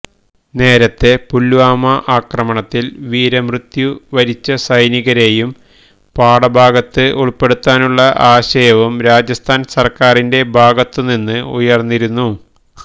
നേരത്തെ പുല്വാമ ഭീകരാക്രമണത്തില് വീരമൃത്യു വരിച്ച സൈനികരേയും പാഠഭാഗത്ത് ഉള്പ്പെടുത്താനുള്ള ആശയവും രാജസ്ഥാന് സര്ക്കാരിന്റെ ഭാഗത്തുനിന്ന് ഉയര്ന്നിരുന്നു